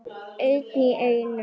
Einn í einu.